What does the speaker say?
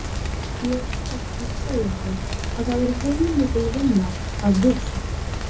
Ég var að segja þér að það er heilmikil vinna að hugsa.